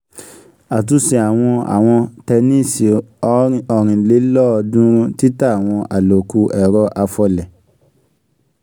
àtúnṣe àwọ̀n àwòn tẹníìsì ọ̀rìnlélọ́ọ̀dúnrún títà àwọn àlòkù ẹ̀rọ afọlẹ̀.